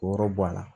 Wɔɔrɔ bɔ a la